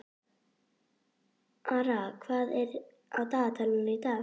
Ara, hvað er á dagatalinu í dag?